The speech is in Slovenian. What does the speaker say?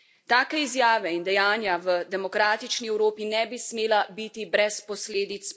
Take izjave in dejanja v demokratični Evropi ne bi smela biti brez posledic.